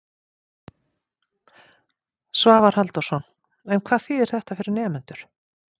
Svavar Halldórsson: En hvað þýðir þetta fyrir nemendur?